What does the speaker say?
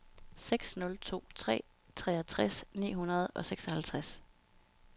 seks nul to tre treogtres ni hundrede og seksoghalvtreds